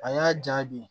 A y'a diya bi